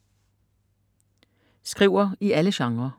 Skriver i alle genrer